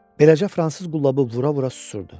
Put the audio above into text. Beləcə fransız qullabını vura-vura susurdu.